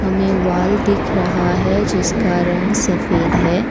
मे wall दिख रहा है जिसका रंग सफ़ेद है।